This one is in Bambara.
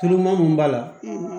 Tulu ma mun b'a la